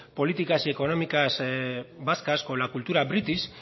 políticas y económicas vascas con la cultura british